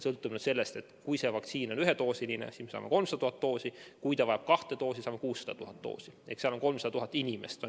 Kui see vaktsiin on ühedoosiline, siis me saame 300 000 doosi, ja kui vaja läheb kahte doosi, saame 600 000 doosi ehk seda jagub 300 000 inimesele.